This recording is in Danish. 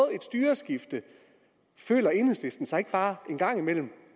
et styreskifte føler enhedslisten sig ikke bare en gang imellem